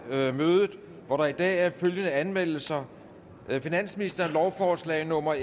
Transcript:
mødet hvor der i dag er følgende anmeldelser finansministeren lovforslag nummer